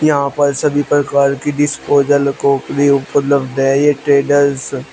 यहां पर सभी प्रकार की डिस्पोजल क्रॉकरी उपलब्ध है ये ट्रेडर्स --